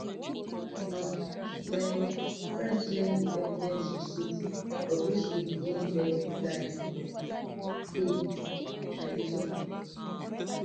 na my um friend send friend send di evidence receipt bobrisky begin beg di guy um and pay but wen i lis ten to di audio